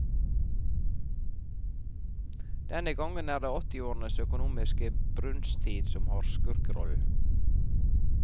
Denne gang er det åttiårenes økonomiske brunsttid som har skurkerollen.